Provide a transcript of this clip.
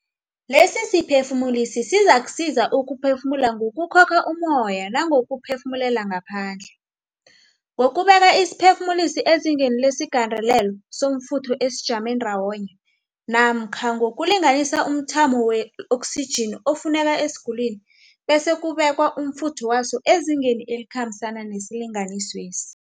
Lesisiphefumulisi sizakusiza ukuphefumula ngokukhokha ummoya nangokuphefumulela ngaphandle, ngokubeka isiphefumulisi ezingeni lesigandelelo somfutho esijame ndawonye namkha ngokulinganisa umthamo we-oksijini efuneka esigulini bese kubekwa umfutho wayo ezingeni elikhambisana nesilinganiswesi.